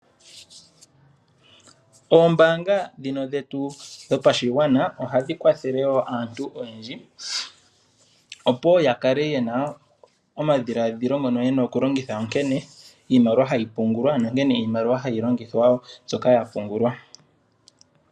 Oombaanga ndhino dhetu dhopashigwana ohadhi kwathele wo aantu oyendji opo wo ya kale yena omadhiladhila ngono yena okulongitha onkene iimaliwa hayi pungulwa nonkene iimaliwa ha yi longithwa mbyoka ya pungulwa.